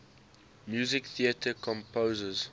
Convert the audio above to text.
musical theatre composers